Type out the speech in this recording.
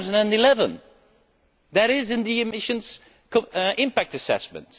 2011. That is in the emissions impact assessment.